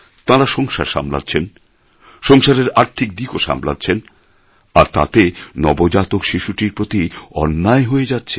তাঁরা সংসার সামলাচ্ছেন সংসারের আর্থিক দিকও সামলাচ্ছেন আর তাতে নবজাতক শিশুটির প্রতি অন্যায় হয়ে যাচ্ছে